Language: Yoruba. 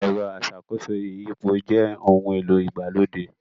Ẹ̀rọ aṣàkóso ìyípo jẹ ohun-èlò ìgbàlódé